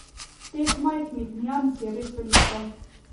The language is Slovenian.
Teh majhnih nians je res veliko.